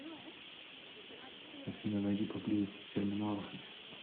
афина найди поблизости терминалы